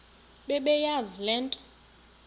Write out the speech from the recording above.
bebeyazi le nto